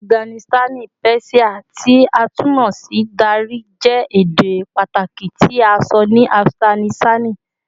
Afiganisitani Persian, ti a tun mọ si Dari, jẹ ede pataki ti a sọ ni Afiganisitani